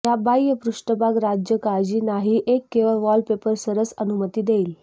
या बाह्य पृष्ठभाग राज्य काळजी नाही एक वेळ वॉलपेपर सरस अनुमती देईल